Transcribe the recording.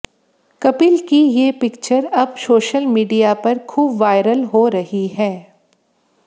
कपिल की ये पिक्चर अब सोशल मीडिया पर खूब वायरल हो रही है